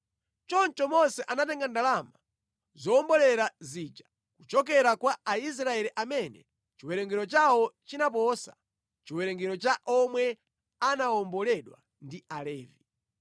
Choncho Mose anatenga ndalama zowombolera zija kuchokera kwa Aisraeli amene chiwerengero chawo chinaposa chiwerengero cha omwe anawomboledwa ndi Alevi.